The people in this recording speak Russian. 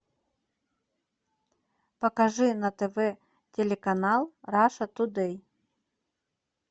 покажи на тв телеканал раша тудей